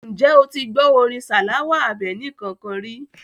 Ǹjẹ́ o ti gbọ́ orin Salawa Àbẹ̀ní kankan ri?